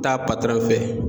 Taa patɔrɔn fɛ.